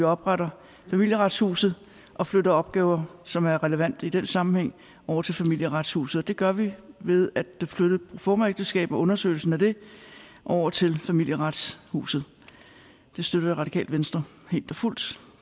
og opretter familieretshuset og flytter opgaver som er relevante i den sammenhæng over til familieretshuset det gør vi ved at flytte proformaægteskab og undersøgelsen af det over til familieretshuset det støtter radikale venstre helt og fuldt